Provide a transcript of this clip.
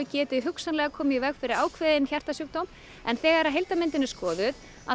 geti hugsanlega komið í veg fyrir ákveðinn hjartasjúkdóm en þegar heildarmyndin er skoðuð